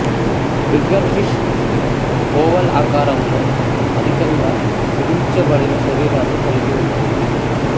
trigger fish oval ఆకారంలో అధికంగా కుదించబడిన శరీరాన్ని కలిగి ఉంటుంది